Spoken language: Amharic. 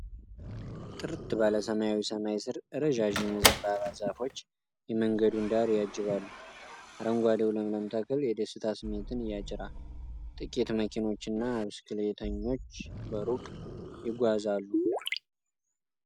ጥርት ባለ ሰማያዊ ሰማይ ስር፣ ረዣዥም የዘንባባ ዛፎች የመንገዱን ዳር ያጅባሉ። አረንጓዴው ለምለም ተክል የደስታ ስሜትን ይጭራል፤ ጥቂት መኪኖችና ብስክሌተኞች በሩቅ ይጓዛሉ።